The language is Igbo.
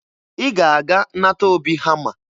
Ị ga-aga nata Obi hama